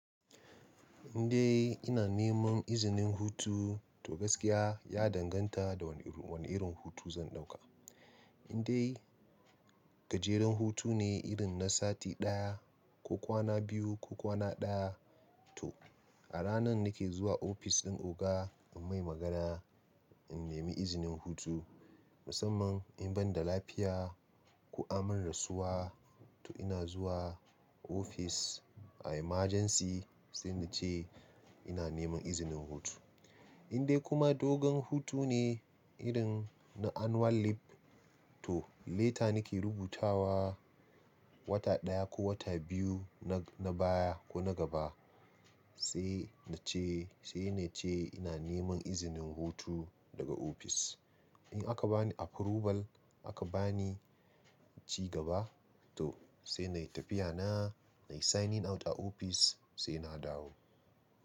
Indai ina neman izinin hutu, to gaskiya ya danganta da wane irin, wane irin hutu zan ɗauka. Indai gajeren hutu ne irin na sati ɗaya ko kwana biyu ko kwana ɗaya, to a ranan nake zuwa ofis ɗin oga in mai magana, in nemi izinin hutu. Musamman in banda lafiya ko an min rasuwa, to ina zuwa ofis a emergency sai nace ina neman izinin hutu. Indai kuma dogon hutu ne irin na annual leave, to leta nake rubutawa wata ɗaya ko wata biyu na, na baya ko na gaba sai nace, sai nace ina neman izinin hutu daga ofis. In aka bani approval aka bani ciga ba, to sai nayi tafiya na, nayi signing out a ofis sai na dawo.